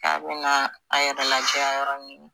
k'a be na a yɛrɛ lajɛya yɔrɔ min